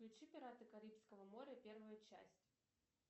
включи пираты карибского моря первую часть